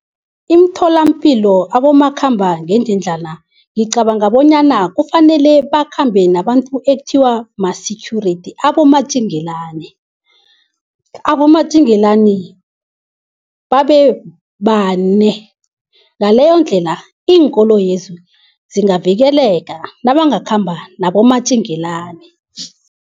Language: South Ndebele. Imtholampilo abomakhambangendlwana ngicabanga bonyana kufanele bakhambe nabantu ekuthiwa ma-security abomatjengelani. Abomatjengelani babebane, ngaleyondlela iinkoloyezi zingavikeleka nabangakhamba nabomatjingelani.